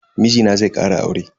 Mijina zai kara aure.